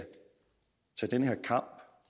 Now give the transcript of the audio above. tage den her kamp